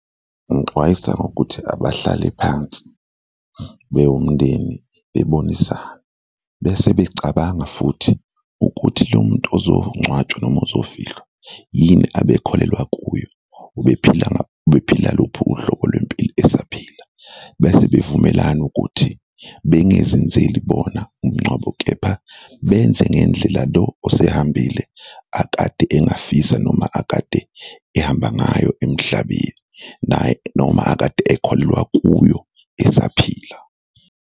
Ngixwayisa ngokuthi abahlale phansi bewumndeni bebonisane bese becabanga futhi ukuthi lo muntu uzongcwatshwa noma ozofihlwa yini abekholelwa kuyo, ubephila ubephila luphi uhlobo lwempilo esaphila? Bese bevumelana ukuthi bengezenzeli bona umngcwabo kepha benze ngendlela lo osehambile akade engafisa noma akade ehamba ngayo emhlabeni naye noma akade ekholelwa kuyo esaphila.